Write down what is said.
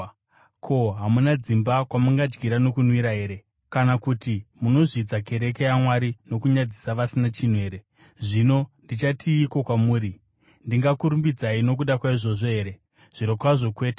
Ko, hamuna dzimba kwamungadyira nokunwira here? Kana kuti munozvidza kereke yaMwari nokunyadzisa vasina chinhu here? Zvino ndichatiiko kwamuri? Ndingakurumbidzai nokuda kwaizvozvi here? Zvirokwazvo kwete!